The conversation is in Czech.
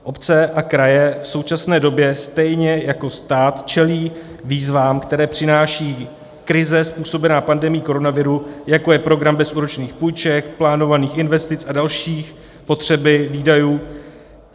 Obce a kraje v současné době stejně jako stát čelí výzvám, které přináší krize způsobená pandemií koronaviru, jako je program bezúročných půjček, plánovaných investic a další potřeby výdajů.